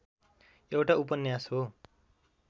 एउटा उपन्यास हो